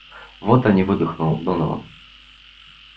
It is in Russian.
вот они выдохнул донован